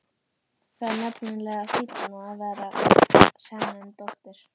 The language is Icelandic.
Það er nefnilega fínna að vera sen en dóttir.